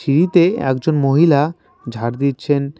সিঁড়িতে একজন মহিলা ঝাড় দিচ্ছেন।